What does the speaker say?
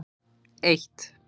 eitt